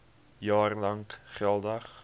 jaar lank geldig